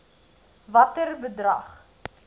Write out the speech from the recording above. watter bedrag